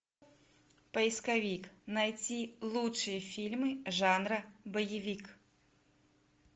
поисковик найти лучшие фильмы жанра боевик